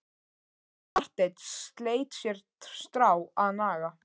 Marteinn sleit sér strá að naga.